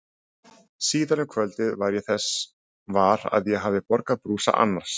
Síðar um kvöldið varð ég þess var að ég hafði borgaði brúsa annars.